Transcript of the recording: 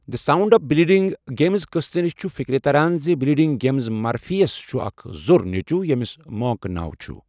The sound of bleeding gums' قستہٕ نِش چھُ فکرِ تران زِ بلیڈنگ گمز مرفی یَس چھُ اکھ زوٚر نیچو ییٚمِس موٚنک ناو چھُ۔